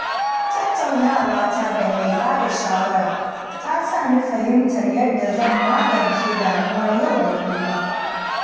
Tattaunawata da mai bada shawara ta sa ni fahimtar yadda zan magance damuwar yau da kullum.